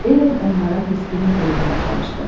Ellen onlara təskinlik verməyə çalışdı.